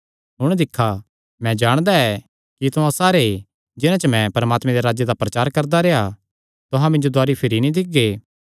हुण दिक्खा मैं जाणदा ऐ कि तुहां सारे जिन्हां च मैं परमात्मे दे राज्जे दा प्रचार करदा रेह्आ तुहां मिन्जो दुवारी भिरी नीं दिक्खगे